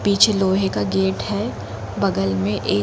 पीछे लोहे का एक गेट है बगल में एक --